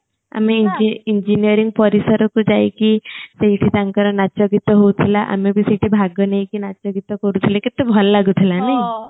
ଆମେ engineering ପରିସର କୁ ଯାଇକି ସେଇଠି ତାଙ୍କର ନାଚ ଗୀତ ହୋଉଥିଲା ଆମେ ଭି ସେଇଠି ଭାଗ ନେଇକି ନାଚ ଗୀତ କରୁଥିଲେ କେତେ ଭଲ ଲାଗୁ ଥିଲା ନାହିଁ